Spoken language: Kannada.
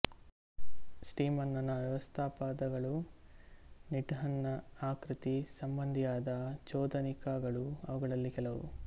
ಸ್ಟಿಮನ್ನನ ವ್ಯವಸ್ಥಾಪದಗಳೂ ನೀಡ್ಹಾಂನ ಆಕೃತಿ ಸಂಬಂಧಿಯಾದ ಚೋದನಿಕಗಳೂ ಅವುಗಳಲ್ಲಿ ಕೆಲವು